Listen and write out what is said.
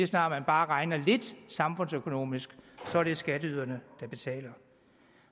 snart man bare regner lidt samfundsøkonomisk er det skatteyderne der betaler